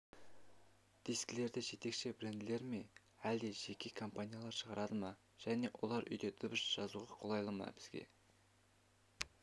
дискілерді жетекші бренділерме әлде жеке компаниялар шығарады ма және олар үйде дыбыс жазуға қолайлы ма бізге